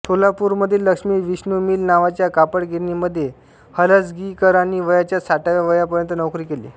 सोलापूरमधील Lakshmi Vishnu mill नावाच्या कापडगिरणीमध्ये हलसगीकरांनी वयाच्या साठाव्या वयापर्यंत नोकरी केली